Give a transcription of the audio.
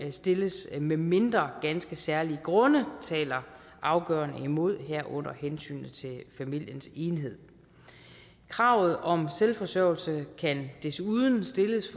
stilles medmindre ganske særlige grunde taler afgørende imod herunder hensynet til familiens enhed kravet om selvforsørgelse kan desuden stilles